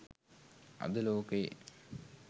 අද ලෝකයේ